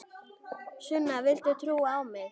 Sunna, viltu trúa á mig?